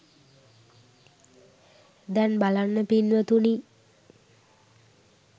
දැන් බලන්න පින්වතුනි